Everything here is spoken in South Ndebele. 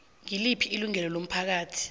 ngiliphi ilungu lomphakathi